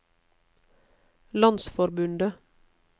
landsforbundet